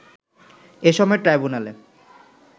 এ সময় ট্রাইব্যুনালে